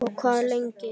Og hvað lengi?